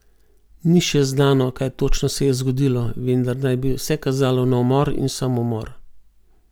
Ni še znano, kaj točno se je zgodilo, vendar naj bi vse kazalo na umor in samomor.